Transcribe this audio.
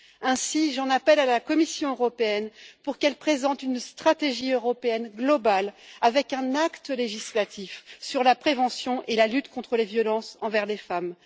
Ainsi, j'en appelle à la Commission pour qu'elle présente une stratégie européenne globale, avec un acte législatif sur la prévention et la lutte contre les violences envers les femmes.